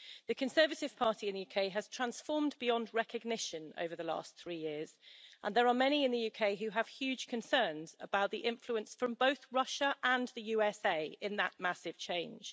The Conservative Party in the UK has transformed beyond recognition over the last three years, and there are many in the UK who have huge concerns about the influence from both Russia and the USA in that massive change.